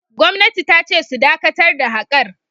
Gwamnati ta ce su dakatar da haƙar!